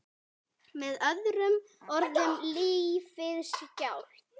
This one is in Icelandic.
Með öðrum orðum lífið sjálft.